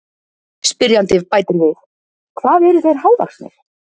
Spyrjandi bætir við: Hvað eru þeir hávaxnir?